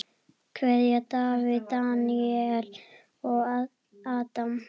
Kveðja: Davíð, Daníel og Adam.